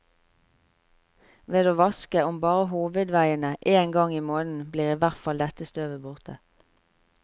Ved å vaske, om bare hovedveiene, én gang i måneden blir i hvert fall dette støvet borte.